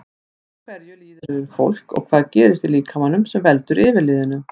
Af hverju líður yfir fólk og hvað gerist í líkamanum sem veldur yfirliðinu?